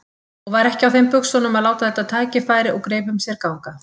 Og var ekki á þeim buxunum að láta þetta tækifæri úr greipum sér ganga.